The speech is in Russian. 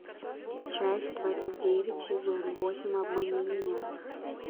часть двадцать девять сезон восемь обмани меня